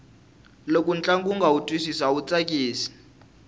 loko ntlangu unga wu twisisi awu tsakisi